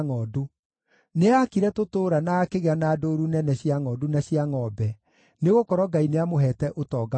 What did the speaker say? Nĩaakire tũtũũra na akĩgĩa na ndũũru nene cia ngʼondu na cia ngʼombe, nĩgũkorwo Ngai nĩamũheete ũtonga mũnene.